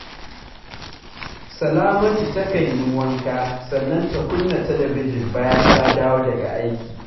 Salamatu takan yi wanka sannan ta kunna talabijin bayan ta dawo daga aiki